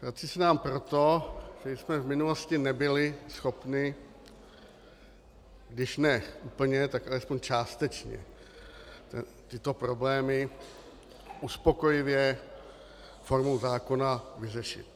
Vrací se nám proto, že jsme v minulosti nebyli schopni když ne úplně, tak alespoň částečně tyto problémy uspokojivě formou zákona vyřešit.